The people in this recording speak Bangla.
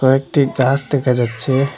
কয়েকটি গাস দেকা যাচ্চে ।